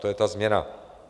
To je ta změna.